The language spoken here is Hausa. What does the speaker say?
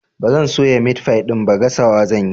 Ba zan soya meat pie ɗin ba, gasawa zan yi.